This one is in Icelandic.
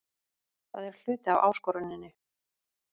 Það er hluti af áskoruninni.